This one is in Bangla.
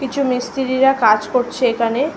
কিছু মিস্ত্রিরা কাজ করছে এখানে ।